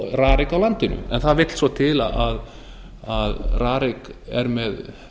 rarik á landinu en það vill svo til að rarik er með